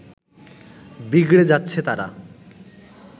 বিগড়ে যাচ্ছে তারা